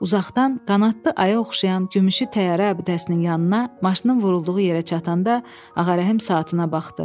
Uzaqdan qanadlı aya oxşayan gümüşü təyyarə abidəsinin yanına maşının vurulduğu yerə çatanda Ağarəhim saatına baxdı.